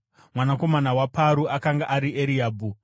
Mwanakomana waParu akanga ari Eriabhi,